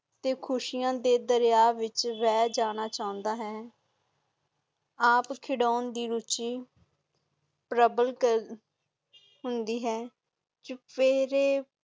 ਤੇ ਖੁਸ਼ੀਆਂ ਦੇ ਦਰੀਆਂ ਵਿਚ ਰਹਿ ਜਾਣਾ ਚਾਹੰਦਾ ਹੈ ਆਪ ਖਿਡਾਂ ਦੀ ਰੁਚੀ ਪ੍ਰਬਲ ਹੁੰਦੀ ਹੈ ਚੁਪੇਰੇ।